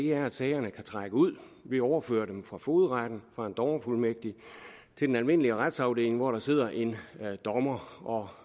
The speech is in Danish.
er at sagerne kan trække ud vi overfører dem fra fogedretten fra en dommerfuldmægtig til den almindelige retsafdeling hvor der sidder en dommer